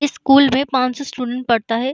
इस स्कूल में पांचो स्टूडेंट पड़ता है।